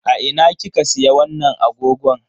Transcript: A ina kika siya wannan agogon?